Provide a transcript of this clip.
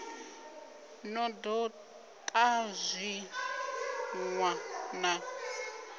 no do ta zwitenwa na